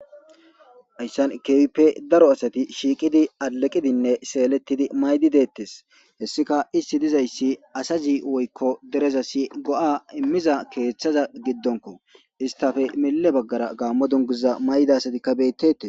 Hayssan keehippe daro asati shiiqidi eqidinne seelettidi mayidi deettes hessika isti dizayssi asazi woykko derezasi go7a immiza keeththaza giddonko istafe mille baggara gaammo dunguza mayida asatikka beettetes.